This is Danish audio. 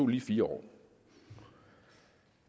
lige fire år